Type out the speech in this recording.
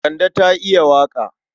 Kande ta iya waƙa.